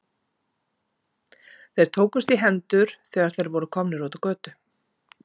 Þeir tókust í hendur, þegar þeir voru komnir út á götu.